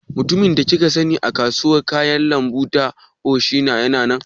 Mutumin da kika sani a kasuwar kayan lambu ta Onisha yana nan?